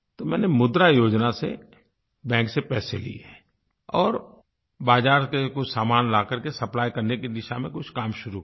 तो मैंने मुद्रा योजना से बैंक से पैसे लिए और बाज़ार से कुछ सामान ला करके सप्लाई करने की दिशा में कुछ काम शुरू किया